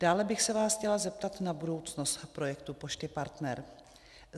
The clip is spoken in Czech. Dále bych se vás chtěla zeptat na budoucnost projektu Pošty Partner.